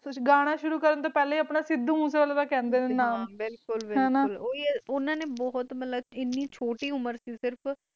ਗਾਣਾ ਸ਼ੁਰੂ ਕਰਨ ਤੋਂ ਪਹਿਲਾ ਹੀ ਸੁਧੁ ਮੁਸਾਏ ਵਾਲਾ ਕਾਹਦੇ ਸੀ, ਬਿਲਕੁਲ ਬਿਲਕੁਲ ਉਨ੍ਹਣਾ ਨੇ ਛੋਟੀ ਉਮਰ ਵਿਚ ਹੀ ਆਪਣਾ ਹਨ ਨਾਮ ਬਣਾ ਲਾਯਾ ਸੀ